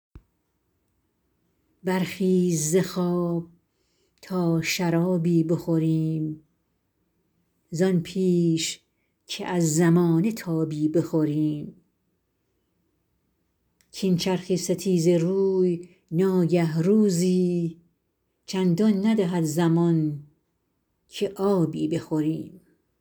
برخیز ز خواب تا شرابی بخوریم زان پیش که از زمانه تابی بخوریم کاین چرخ ستیزه روی ناگه روزی چندان ندهد زمان که آبی بخوریم